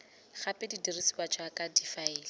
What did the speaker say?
gape di dirisiwa jaaka difaele